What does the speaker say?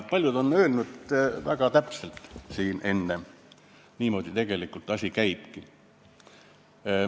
Paljud ongi siin enne öelnud: niimoodi tegelikult asi käibki.